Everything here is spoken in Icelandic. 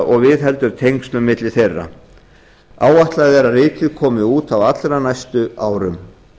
og viðheldur tengslum á milli þeirra áætlað er að ritið komi út á allra næstu árum